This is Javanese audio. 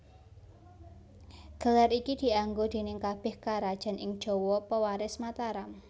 Gelar iki dianggo déning kabèh karajan ing Jawa pewaris Mataram